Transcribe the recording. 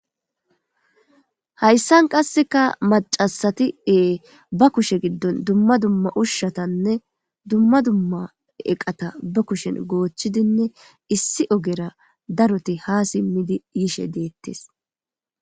Hayssan qasseka macasati ee ba kushe giddon dumma dumma ushshatanne dumma dumma eqata ba kushen goochchidinne issi ogera daroti ha simmidi yishe deettes.